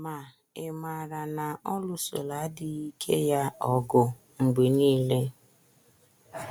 Ma ị̀ maara na ọ lụsoro adịghị ike ya ọgụ mgbe nile??